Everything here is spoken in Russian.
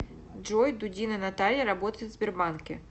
джой дудина наталья работает в сбербанке